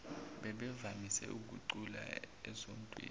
bebevamise ukucula esontweni